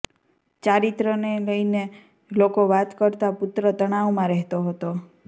ચારિત્રને લઈને લોકો વાતો કરતા પુત્ર તણાવમાં રહેતો હતો